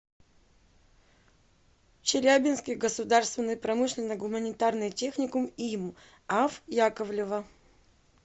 челябинский государственный промышленно гуманитарный техникум им ав яковлева